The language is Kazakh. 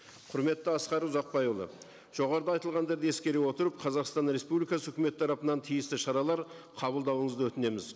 құрметті асқар ұзақбайұлы жоғарыда айтылғандарды ескере отырып қазақстан республикасы үкіметі тарапынан тиісті шаралар қабылдауыңызды өтінеміз